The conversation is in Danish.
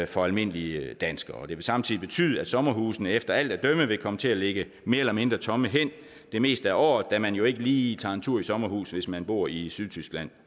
for almindelige danskere det vil samtidig betyde at sommerhusene efter alt at dømme vil komme til at ligge mere eller mindre tomme hen det meste af året da man jo ikke lige tager en tur i sommerhus hvis man bor i sydtyskland